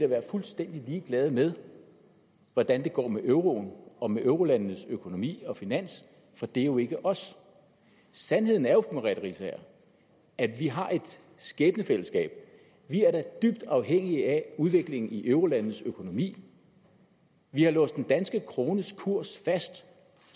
være fuldstændig ligeglade med hvordan det går med euroen og med eurolandenes økonomi og finanser for det er jo ikke os sandheden er jo at vi har et skæbnefællesskab vi er da dybt afhængige af udviklingen i eurolandenes økonomi vi har låst den danske krones kurs fast